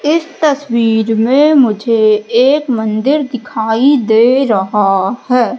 इस तस्वीर में मुझे एक मंदिर दिखाई दे रहा है।